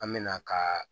An mɛna ka